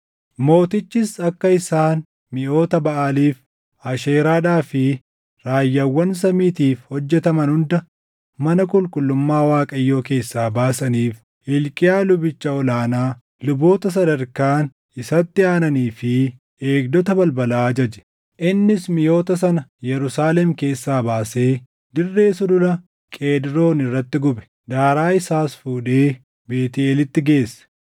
Mootichis akka isaan miʼoota Baʼaaliif, Asheeraadhaa fi raayyaawwan samiitiif hojjetaman hunda mana qulqullummaa Waaqayyoo keessaa baasaniif Hilqiyaa lubicha ol aanaa, luboota sadarkaan isatti aananii fi eegdota balbalaa ajaje. Innis miʼoota sana Yerusaalem keessaa baasee dirree Sulula Qeedroon irratti gube; daaraa isaas fuudhee Beetʼeelitti geesse.